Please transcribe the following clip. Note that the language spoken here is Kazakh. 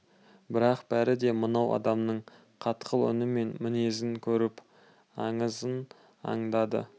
бірақ бәрі де мынау адамның қатқыл үні мен мінезін көріп аңызын аңдады